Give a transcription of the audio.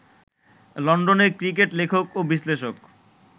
লন্ডনের ক্রিকেট লেখক ও বিশ্লেষক